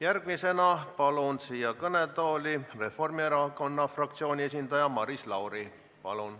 Järgmisena palun kõnetooli Reformierakonna fraktsiooni esindaja Maris Lauri.